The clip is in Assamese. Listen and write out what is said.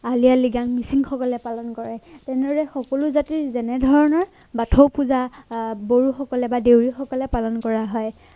আলি আয়ে লৃগাং মিচিংসকলে পালন কৰে। তেনেদৰে সকলো জাতিৰ যেনেধৰণৰ বাথৌ পূজাআহ বড়ো সকলে বা দেউৰী সকলে পালন কৰা হয়